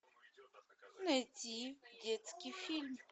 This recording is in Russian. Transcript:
найти детский фильм